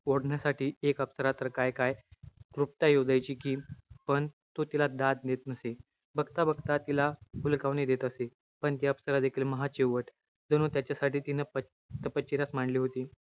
ओढण्यासाठी एक अप्सरा तर, काय-काय तृप्त्या योजायची कि. पण तो तिला दाद देत नसे. बघता-बघता, तिला हुलकावणी देत असे. पण ती अप्सरा देखील, महाचिवट, जणू त्याच्यासाठी तिनं प~ तपश्चर्याचं मांडली होती.